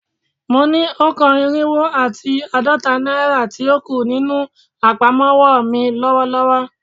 Mo ni o kan irinwo ati aadọta naira ti o ku ninu apamọwọ mi lọwọlọwọ